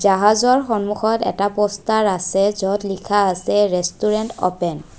জাহাজৰ সন্মুখত এটা পোষ্টাৰ আছে য'ত লিখা আছে ৰেষ্টুৰেণ্ট অ'পেন ।